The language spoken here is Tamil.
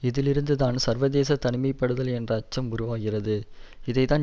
இதிலிருந்துதான் சர்வதேச தனிமைப்படுதல் என்ற அச்சம் உருவாகிறது இதைத்தான்